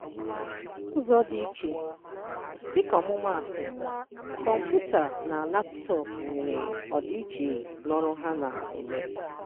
Ụzọ dị iche: Dịka ọmụmaatụ, kọmputa na laputọọpụ nwere ọdịiche na ọrụ ha na-eme.